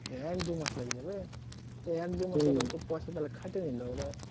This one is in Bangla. এক দু মাস লেগে যাবে? তা এক দু মাসের তো পয়সা তাহলে খাটিয়ে নিল ওরা